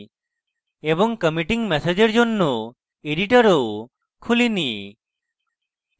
committing message এর জন্য editor খুলিনি